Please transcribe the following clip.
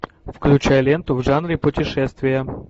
включай ленту в жанре путешествия